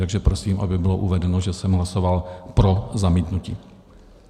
Takže prosím, aby bylo uvedeno, že jsem hlasoval pro zamítnutí.